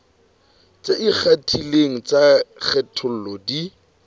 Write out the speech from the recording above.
tse ikgethileng tsa kgatello di